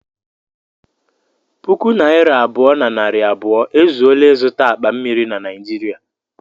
Puku naira abụọ na narị abụọ ezuola ịzụta akpa mmiri na Naịjirịa